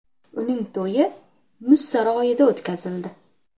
Uning to‘yi muz saroyida o‘tkazildi .